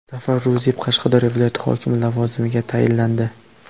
Zafar Ruziyev Qashqadaryo viloyati hokimi lavozimiga tayinlandi.